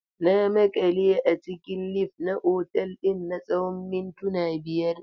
Na maƙale a cikin lif na otal ɗin na tsawon mintuna biyar.